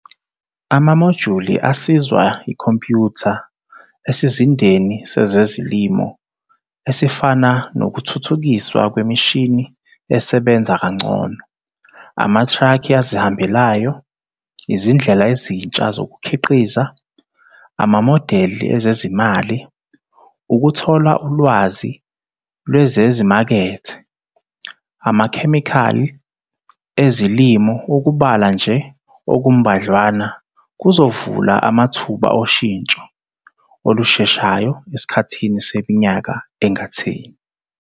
Amamojuli asizwa yikhompyutha esizindeni sezezilimo esifana nokuthuthukiswa kwemishini esebenza kangcono, amatraki azihambelayo, izindlela ezintsha zokukhiqiza, amamodeli ezezimali, ukuthola ulwazi lwezezimakethe, amakhemikhali ezilimo ukubala nje okumbadlwana, kuzovula amathuba oshintsho olusheshayo esikhathini seminyaka engatheni.